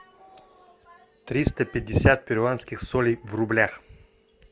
триста пятьдесят перуанских солей в рублях